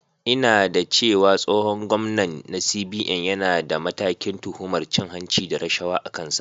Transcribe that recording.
Ina da cewa tsohon gwamnan na CBN yana da matakin tuhumar cin hanci da rashawa a kansa.